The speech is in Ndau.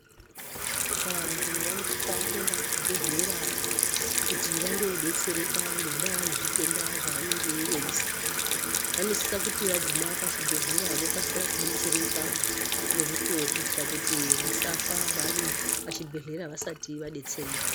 Vantu vanosisa kuenda kuzvibhedhlera kuti vandodetsereka ngendaa yezvitenda zvavanenge veizwa. Vanosisa kuti vaguma pachibhedhlera vokasira kudetsereka ngomukuwo kuitira kuti vasafa vari pachibhedhlera vasati vadetsereka.